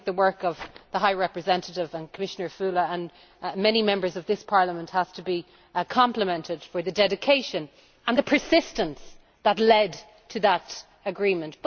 I think the work of the High Representative and Commissioner Füle and many members of this Parliament has to be complimented for the dedication and the persistence that led to that agreement.